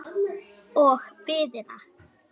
Og biðina.